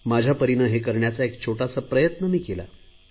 माझ्या परीने हा एक छोटासा प्रयत्न मी केला आहे